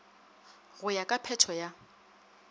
go ya ka phetho ya